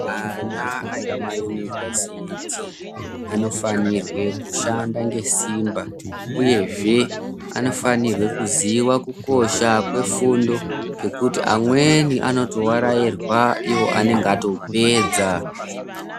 Ana emayunivhesiti anofanirwe kushanda ngesimba, uyezve anofanirwa kuziya kukosha kwefundo. Ngekuti amweni anotovarairwa ivo anonga atopedza.